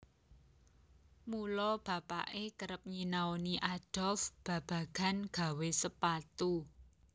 Mula bapake kerep nyinaoni Adolf babagan gawé sepatu